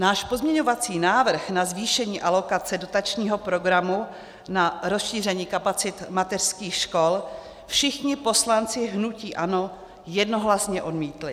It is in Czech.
Náš pozměňovací návrh na zvýšení alokace dotačního programu na rozšíření kapacit mateřských škol všichni poslanci hnutí ANO jednohlasně odmítli.